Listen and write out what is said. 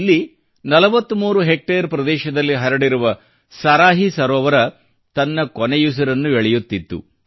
ಇಲ್ಲಿ 43 ಹೆಕ್ಟೇರ್ ಪ್ರದೇಶದಲ್ಲಿ ಹರಡಿರುವ ಸರಾಹಿ ಸರೋವರ ತನ್ನ ಕೊನೆಯುಸಿರನ್ನು ಎಳೆಯುತ್ತಿತ್ತು